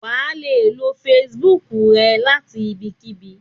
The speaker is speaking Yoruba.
wa le lo Facebook e lati ibikibi